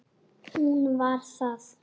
Hún var það.